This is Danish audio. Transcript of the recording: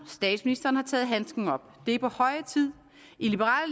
statsministeren har taget handsken op det er på høje tid i liberal